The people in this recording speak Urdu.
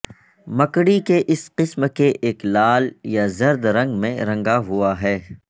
مکڑی کے اس قسم کے ایک لال یا زرد رنگ میں رنگا ہوا ہے